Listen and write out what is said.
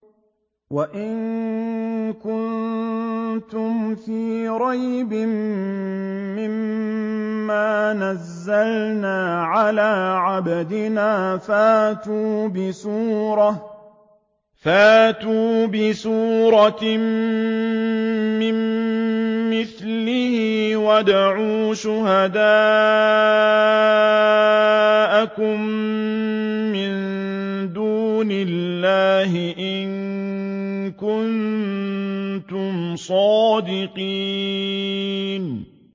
وَإِن كُنتُمْ فِي رَيْبٍ مِّمَّا نَزَّلْنَا عَلَىٰ عَبْدِنَا فَأْتُوا بِسُورَةٍ مِّن مِّثْلِهِ وَادْعُوا شُهَدَاءَكُم مِّن دُونِ اللَّهِ إِن كُنتُمْ صَادِقِينَ